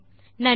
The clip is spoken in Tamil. நன்றி